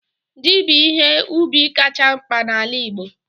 Ji bụ ihe ubi kacha mkpa n'ala Igbo